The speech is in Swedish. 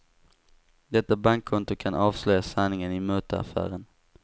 Detta bankkonto kan avslöja sanningen i mutaffären.